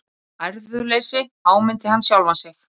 Æðruleysi, áminnti hann sjálfan sig.